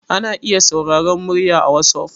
ana iya sauraron murya a wasof